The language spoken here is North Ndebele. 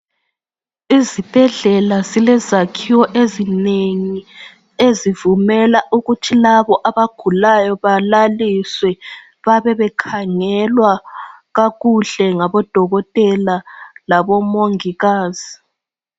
Izibhedlela zilezakhiwo ezinengi ezivumela ukuthi labo ukuthi labo abagulayo balaliswe babebekhangelwa kakuhle ngodokotela labo mongikazi